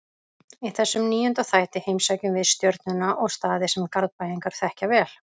Í þessum níunda þætti heimsækjum við Stjörnuna og staði sem Garðbæingar þekkja vel.